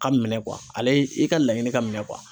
Ka minɛn ale i ka laɲini ka minɛn